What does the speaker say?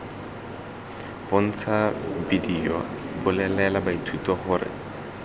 bontsha bedio bolelela baithuti gore